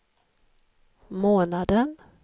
månaden